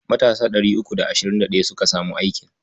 Matasa ɗari uku da ashirin da ɗaya suka samu aikin.